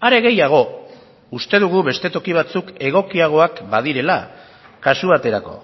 are gehiago uste dugu beste toki batzuk egokiagoak badirela kasu baterako